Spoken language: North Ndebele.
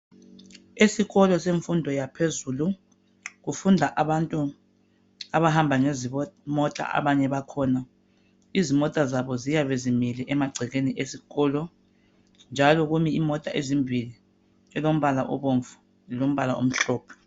Esikolo semfundo yaphezulu kufunda abantu abahamba ngezimotaabanye bakhona . Izimota zabo ziyabe zimile emagcekeni esikolo njalo kumi imota ezimbili elombala obomvu lelombala omhlophe.